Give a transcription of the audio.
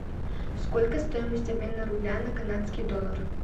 сколько стоимость обмена рубля на канадский доллар